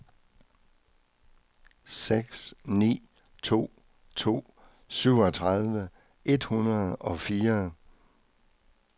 seks ni to to syvogtredive et hundrede og fire